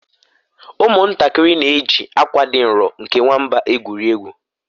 ụmụntakịrị na-eji akwa dị nro nke nwamba egwuri egwu